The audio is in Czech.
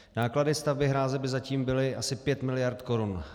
Náklady stavby hráze by zatím byly asi pět miliard korun.